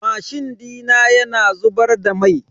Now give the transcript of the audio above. Mashin dina yana zubar da mai.